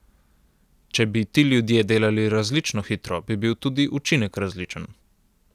Če bi ti ljudje delali različno hitro, bi bil tudi učinek različen.